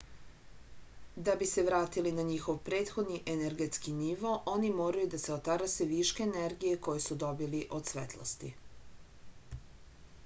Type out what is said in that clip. da bi se vratili na njihov prethodni energetski nivo oni moraju da se otarase viška energije koju su dobili od svetlosti